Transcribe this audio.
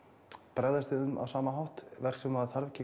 bregðast við þeim á sama hátt verk sem maður þarf